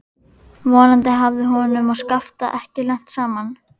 Vonandi hafði honum og Skafta ekki lent saman.